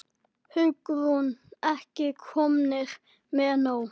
Hugrún: Ekki komnir með nóg?